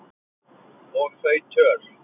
Og þau töl